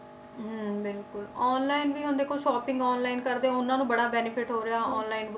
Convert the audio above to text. ਹਮ ਬਿਲਕੁਲ online ਵੀ ਹੁਣ ਦੇਖੋ shopping online ਕਰਦੇ ਆ ਉਹਨਾਂ ਨੂੰ ਬੜਾ benefit ਹੋ ਰਿਹਾ online